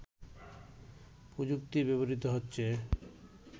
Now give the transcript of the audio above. প্রযুক্তি ব্যবহৃত হচ্ছে